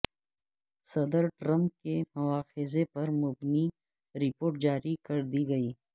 صدر ٹرمپ کے مواخذے پر مبنی رپورٹ جاری کر دی گئی